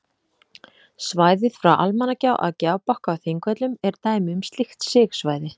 Svæðið frá Almannagjá að Gjábakka á Þingvöllum er dæmi um slíkt sigsvæði.